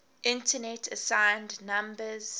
internet assigned numbers